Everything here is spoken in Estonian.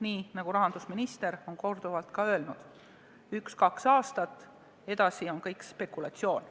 Nii nagu rahandusminister on korduvalt ka öelnud: üks-kaks aastat, edasi on kõik spekulatsioon.